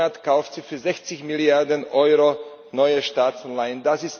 Jeden Monat kauft sie für 60 Milliarden Euro neue Staatsanleihen.